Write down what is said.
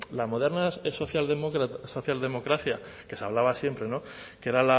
la moderna socialdemocracia que se hablaba siempre que era